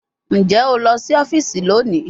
Njẹ o lọ si ọfiisi loni?